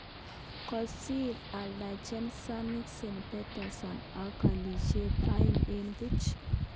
Kosir Anderlecht Zenit St. Petersburg ak kolisyek aeng eng puch